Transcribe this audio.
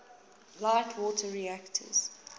light water reactors